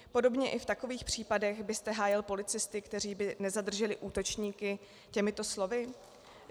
Podobně i v takových případech byste hájil policisty, kteří by nezadrželi útočníky, těmito slovy?